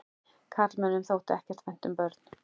Karlmönnum þótti ekkert vænt um börn.